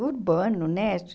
Urbano, né?